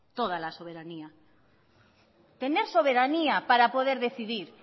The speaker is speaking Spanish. toda la soberanía tener soberanía para poder decidir